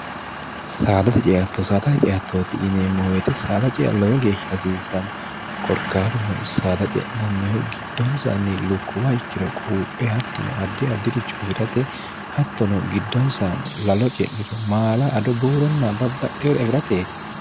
saadate ceatto saaxa ceattooti yineemmo wete saada cea lowo geeshsha hasiisano korkaatuno saada ce'nannihu giddoonsanni lukkuwa ikkiro quuphe hattono addi addi'richo afi'rate hattono giddoonsa lalo ce'niro maala ado buuronna babbaxheeore afi'rate